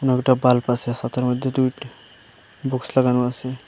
কয়েকটা বাল্ব আসে সাদের মদ্যে দুইটা বুকস্ লাগানো আসে।